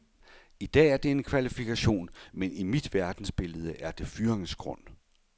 I dag er det en kvalifikation, men i mit verdensbillede er det fyringsgrund.